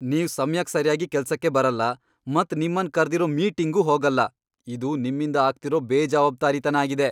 ನೀವ್ ಸಮ್ಯಕ್ ಸರ್ಯಾಗಿ ಕೆಲ್ಸಕ್ಕೆ ಬರಲ್ಲ ಮತ್ ನಿಮ್ಮನ್ ಕರ್ದಿರೋ ಮೀಟಿಂಗ್ಗೂ ಹೋಗಲ್ಲ, ಇದು ನಿಮ್ಮಿಂದ ಆಗ್ತಿರೋ ಬೇಜವಾಬ್ದಾರಿತನ ಆಗಿದೆ.